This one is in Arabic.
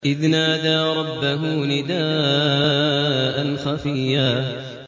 إِذْ نَادَىٰ رَبَّهُ نِدَاءً خَفِيًّا